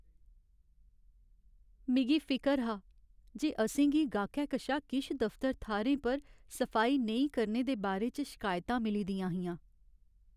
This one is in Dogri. मिगी फिकर हा जे असें गी गाह्कै कशा किश दफ्तर थाह्रें पर सफाई नेईं करने दे बारे च शिकायतां मिली दियां हियां।